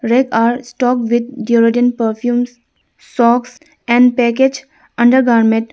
Rack are stock with deodorant perfumes socks and package under garment.